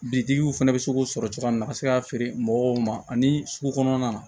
Bitigiw fana bɛ se k'o sɔrɔ cogoya min na ka se k'a feere mɔgɔw ma ani sugu kɔnɔna na